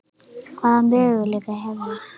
Hvaða möguleika hef ég?